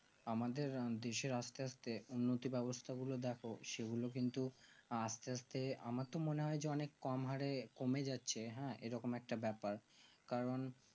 আমাদের দেশে আস্তে আস্তে উন্নতি ব্যাবস্তা গুলো দেখেও সেগুলো কিন্তু আস্তে আস্তে আমার তো মনে হয় যে অনেক কোন হারে কমে যাচ্ছে হ্যাঁ এরকম কাটা ব্যাপার কারণ